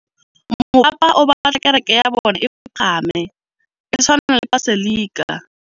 Mopapa o batla kereke ya bone e pagame, e tshwane le paselika.